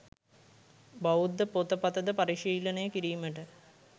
බෞද්ධ පොත, පත ද පරිශීලනය කිරීමට